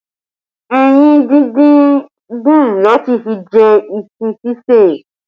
Ẹyin díndín dùn láti fi jẹ iṣu ṣíṣeè